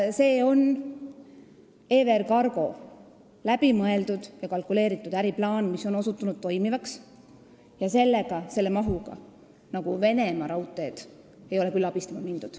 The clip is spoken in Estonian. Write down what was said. See on EVR Cargol läbimõeldud ja kalkuleeritud äriplaan, mis on osutunud toimivaks, ja selle mahuga ei ole Venemaa Raudteid küll abistama mindud.